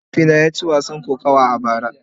Mahaifina ya ci wasan kokawa a bara.